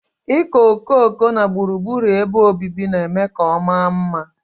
Ịkọ okooko na gburugburu ebe obibi na-eme ka ọ maa mma.